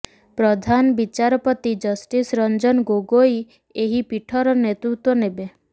ପ୍ରଧାନ ବିଚାରପତି ଜଷ୍ଟିସ ରଂଜନ ଗୋଗୋଇ ଏହି ପୀଠର ନେତୃତ୍ୱ ନେବେ